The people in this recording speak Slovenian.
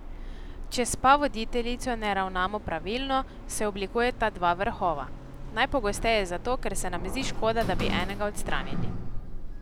Če s pavoditeljico ne ravnamo pravilno, se oblikujeta dva vrhova, najpogosteje zato, ker se nam zdi škoda, da bi enega odstranili.